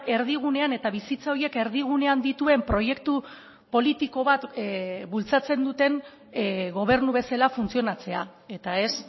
erdigunean eta bizitza horiek erdigunean dituen proiektu politiko bat bultzatzen duten gobernu bezala funtzionatzea eta ez